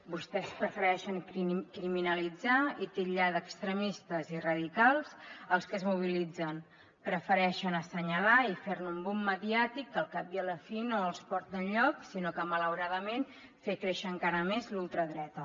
vostès prefereixen criminalitzar i titllar d’extremistes i radicals els que es mobilitzen prefereixen assenyalar i fer ne un boomfi no els porta enlloc sinó que malauradament a fer créixer encara més la ultradreta